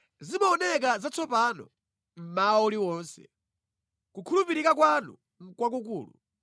Zimaoneka zatsopano mmawa uliwonse; kukhulupirika kwanu nʼkwakukulu.